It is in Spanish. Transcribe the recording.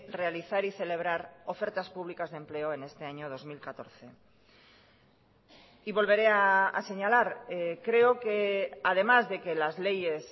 realizar y celebrar ofertas públicas de empleo en este año dos mil catorce y volveré a señalar creo que además de que las leyes